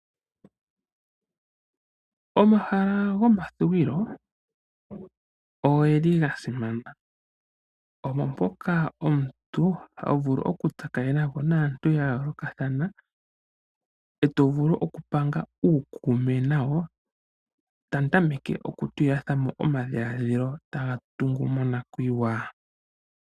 Omahala gomathuwilo ogeli ga simana, omo mpoka omuntu ha vulu okutsakanena ko naantu ya yoolokathana, e to vulu okupanga uukume nayo. Tamu tameke okutulilathana mo omadhiladhilo taga tungu monakuyiwa.